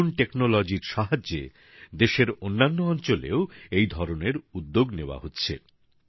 নতুন প্রযুক্তির সাহায্যে দেশের অন্যান্য অঞ্চলেও এই ধরনের উদ্যোগ নেওয়া হচ্ছে